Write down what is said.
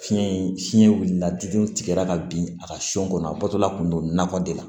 Fiɲɛ in fiɲɛ wulila diɲɛ tigɛra ka bin a ka so kɔnɔ a bɔtɔla kun don nakɔ de la